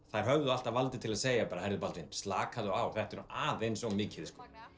þær höfðu alltaf valdið til að segja hey Baldvin slakaðu nú á þetta er aðeins of mikið